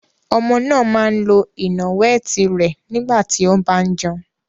Ọmọ náà máa ń lo ìnàwẹ́ẹ̀tì rẹ̀ nígbà tí ó bá ń jẹun.